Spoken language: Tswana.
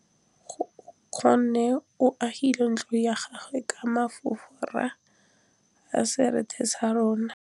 Nkgonne o agile ntlo ya gagwe ka fa morago ga seterata sa rona.